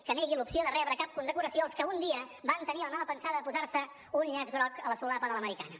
que negui l’opció de rebre cap condecoració els que un dia van tenir la mala pensada de posar se un llaç groc a la solapa de l’americana